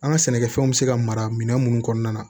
An ka sɛnɛkɛfɛnw bɛ se ka mara minɛn minnu kɔnɔna na